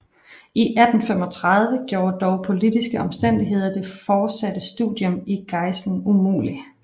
I 1835 gjorde dog politiske omstændigheder det fortsatte studium i Gießen umulig